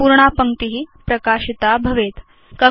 संपूर्णा पङ्क्ति प्रकाशिता भवेत्